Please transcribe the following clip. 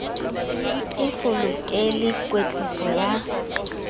e so lokele kwetliso ya